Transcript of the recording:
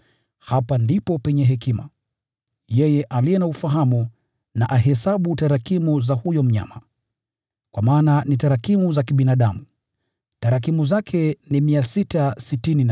Hapa ndipo penye hekima. Yeye aliye na ufahamu na ahesabu tarakimu za huyo mnyama, kwa maana ni tarakimu za kibinadamu. Tarakimu zake ni 666.